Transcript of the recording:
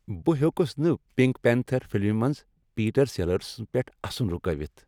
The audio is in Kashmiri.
بہٕ ہیوٚکُس نہٕ پنک پینتھر فلمہِ منٛز پیٹر سیلرس پیٹھ اسن رکٲوتھ۔